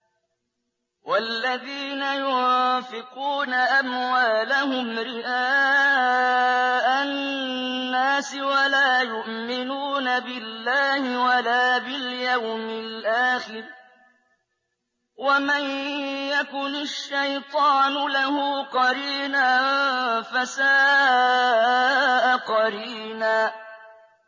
وَالَّذِينَ يُنفِقُونَ أَمْوَالَهُمْ رِئَاءَ النَّاسِ وَلَا يُؤْمِنُونَ بِاللَّهِ وَلَا بِالْيَوْمِ الْآخِرِ ۗ وَمَن يَكُنِ الشَّيْطَانُ لَهُ قَرِينًا فَسَاءَ قَرِينًا